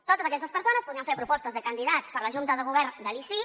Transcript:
totes aquestes persones podrien fer propostes de candidats per a la junta de govern de l’icip